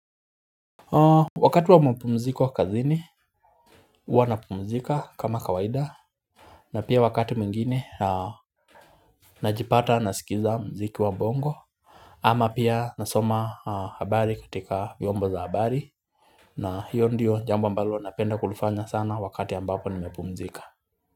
Wakati wa mapumziko kazini huwa napumzika kama kawaida na pia wakati mwingine najipata nasikiza muziki wa bongo ama pia nasoma habari katika vyombo za habari na hiyo ndiyo jambo ambalo napenda kulifanya sana wakati ambapo nimepumzika.